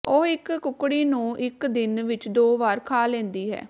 ਉਹ ਇਕ ਕੁਕੜੀ ਨੂੰ ਇਕ ਦਿਨ ਵਿਚ ਦੋ ਵਾਰ ਖਾ ਲੈਂਦੀ ਹੈ